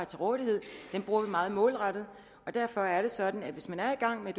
til rådighed bruger vi meget målrettet og derfor er det sådan at hvis man er i gang med